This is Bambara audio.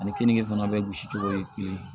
Ani kenige fana bɛ gosi cogo ye kelen ye